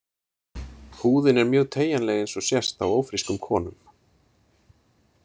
Húðin er mjög teygjanleg eins og sést á ófrískum konum.